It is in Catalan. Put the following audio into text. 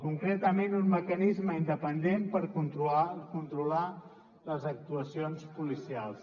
concretament un mecanisme independent per controlar les actuacions policials